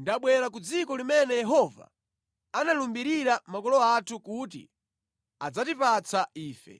ndabwera ku dziko limene Yehova analumbirira makolo athu kuti adzatipatsa ife.”